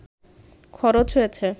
খরচ হয়েছে